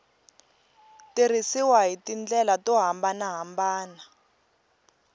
tirhisiwa hi tindlela to hambanahambana